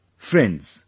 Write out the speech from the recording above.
Friends,